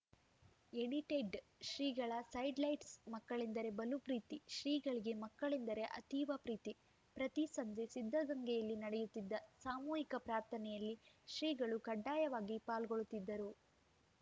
ಎಡಿಟೆಡ್‌ಶ್ರೀಗಳ sidelights ಮಕ್ಕಳೆಂದರೆ ಬಲು ಪ್ರೀತಿ ಶ್ರೀಗಳಿಗೆ ಮಕ್ಕಳೆಂದರೆ ಅತೀವ ಪ್ರೀತಿ ಪ್ರತಿ ಸಂಜೆ ಸಿದ್ಧಗಂಗೆಯಲ್ಲಿ ನಡೆಯುತ್ತಿದ್ದ ಸಾಮೂಹಿಕ ಪ್ರಾರ್ಥನೆಯಲ್ಲಿ ಶ್ರೀಗಳು ಕಡ್ಡಾಯವಾಗಿ ಪಾಲ್ಗೊಳ್ಳುತ್ತಿದ್ದರು